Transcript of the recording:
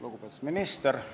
Lugupeetud minister!